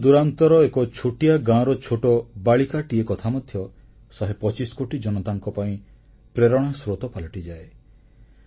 ଦୂରଦୂରାନ୍ତର ଏକ ଛୋଟିଆ ଗାଁର ଛୋଟ ବାଳିକାଟିର କଥା ମଧ୍ୟ ଶହେ ପଚିଶ କୋଟି ଜନତାଙ୍କ ପାଇଁ ପ୍ରେରଣା ସ୍ରୋତ ପାଲଟିଯାଏ